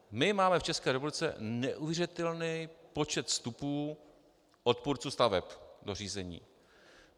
My máme v České republice neuvěřitelný počet vstupů odpůrců staveb do řízení.